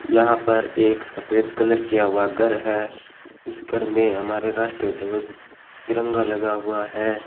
यहां पर एक सफेद कलर किया हुआ घर है इस घर में हमारे राष्ट्रीय ध्वज तिरंगा लगा हुआ है।